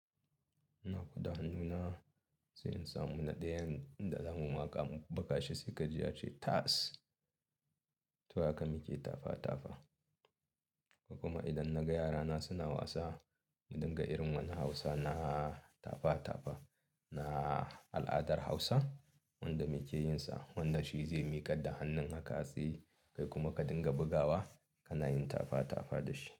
Na koda hannuna, sai in samu na ɗayan da zamu maka, baka shi sai ka ji ya ce tas. To haka muke tafa tafa. Kuma idan na ga yarana suna wasa, ka dinga irin wani Hausa na tafa tafa, na al'adar Hausa wanda muke yinsa. Wanda shi zai miƙa da hannun haka sai kai kuma ka dinga bugawa, kana yin tafa tafa da shi.